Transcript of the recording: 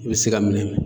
I bɛ se ka minɛ